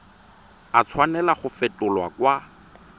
a tshwanela go fetolwa kwa